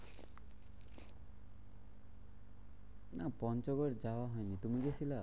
না পঞ্চগড় যাওয়া হয়নি তুমি গেছিলা?